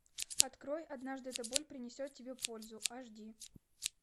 открой однажды эта боль принесет тебе пользу аш ди